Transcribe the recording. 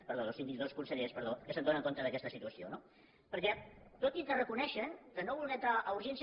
perdó dos síndics no dos consellers perdó que s’adonen d’aquesta situació no perquè tot i que reconeixen que no voler entrar a urgència